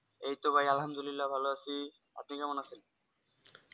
এইতো ভাই আলহামদুলিল্লাহ ভালো আছি আপনি কেমন আছেন ?